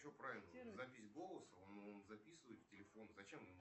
сбер что такое углеводы